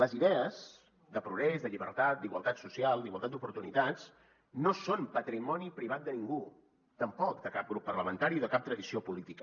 les idees de progrés de llibertat d’igualtat social d’igualtat d’oportunitats no són patrimoni privat de ningú tampoc de cap grup parlamentari o de cap tradició política